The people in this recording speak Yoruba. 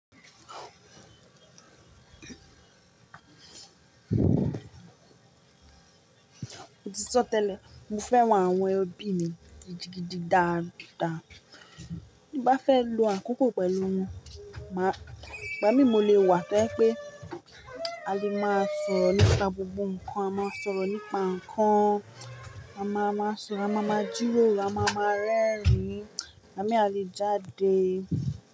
Mo ti sọ tẹ́lẹ̀, mo fẹ́ràn àwọn ẹbí mi gidigidi dáadáa. Bí bá fẹ́ lo àkókò pẹ̀lú wọn, ìgbá mi mo lè wà to je pé a lè máa sọ̀rọ̀ nípa gbogbo nǹkan, a máa sọ̀rọ̀ nípa nǹkan, a máa máa sọ̀rọ̀, a máa ma jíroro, a máa ma rẹ́rìn-ín, àbí à lé jáde.